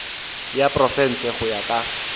ya profense go ya ka